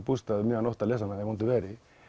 bústað um miðja nótt að lesa hana í vondu veðri